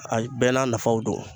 Ayi bɛɛ n'a nafaw don